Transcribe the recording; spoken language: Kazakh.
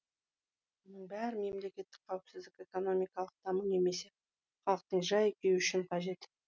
мұның бәрі мемлекеттік қауіпсіздік экономикалық даму немесе халықтың жай күйі үшін қажет